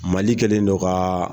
Mali kɛlen don ka